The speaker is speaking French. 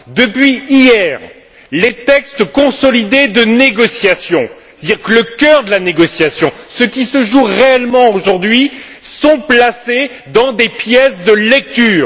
Depuis hier, les textes consolidés de négociation c'est à dire le cœur de la négociation, ce qui se joue réellement aujourd'hui sont placés dans des pièces de lecture.